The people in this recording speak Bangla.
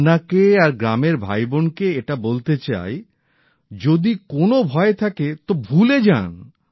আপনাকে আর গ্রামের ভাইবোনকে এটা বলতে চাই যদি কোনো ভয় থাকে তো ভুলে যান